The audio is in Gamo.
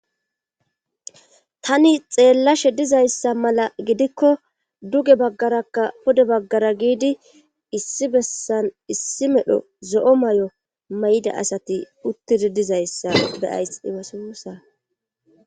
Tani xeellashe dizayssa mala gidikko duge baggarakka pude baggara giidi issi bessan issi medho zo'o may'o may'ida asati uttidi dizayssa beyays ibassa